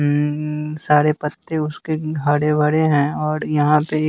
अं सारे पत्ते उसके हरे भरे हैं और यहां पे--